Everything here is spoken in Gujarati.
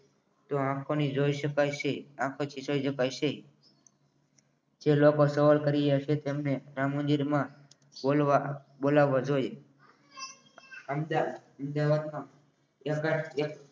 તો આંખોથી જોઈ શકાય છે આંખોથી જોઈ શકાશે જે લોકો સવાલ કર્યો હશે તેમને રામ મંદિરમાં બોલાવવા જોઈએ વ્યક્ત